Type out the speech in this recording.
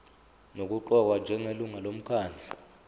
nokuqokwa njengelungu lomkhandlu